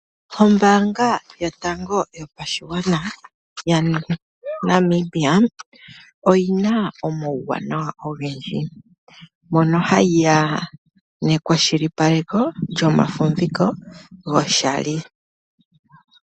Ombaanga yotango yopashigwana ya Namibia, oyina omauwanawa ogendji. Mono hayiya nekwashilipaleko lyomafumviko goshali.